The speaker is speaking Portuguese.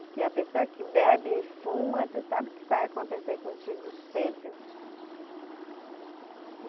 Porque a pessoa que bebe e fuma, tu sabe o que vai acontecer contigo cedo.